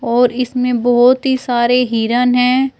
और इसमें बहोत ही सारे हिरण है।